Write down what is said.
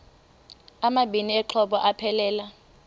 amabini exhobe aphelela